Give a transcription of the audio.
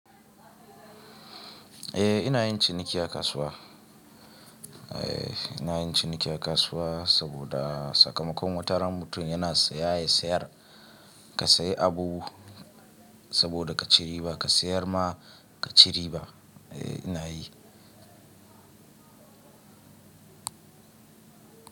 Eh ina yin ciniki a kasuwa. Eh ina yin ciniki a kasuwa saboda sakamakon wataran mutum yana siya ya sayar. Ka sayi abu saboda ka ci riba ka sayar ma kaci riba. Eh ina yi.